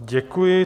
Děkuji.